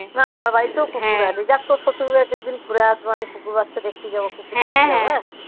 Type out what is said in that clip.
হ্যাঁ আমার বাড়িতেও কুকুর আছে যাক তোর শ্বশুরবাড়িতে এক একদিন ঘুরে আসবো. আমি কুকুর বাচ্চা দেখতে যাবো. কুকুর. হ্যা হ্যা